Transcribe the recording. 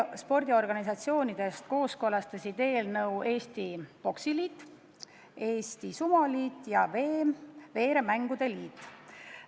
Spordiorganisatsioonidest kooskõlastasid eelnõu Eesti Poksiliit, Eesti Sumoliit ja Eesti Veeremängude Liit.